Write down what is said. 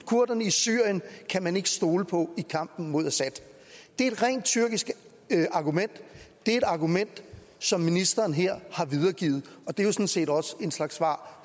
kurderne i syrien kan man ikke stole på i kampen mod assad det er et rent tyrkisk argument det er et argument som ministeren her har videregivet og det er jo sådan set også en slags svar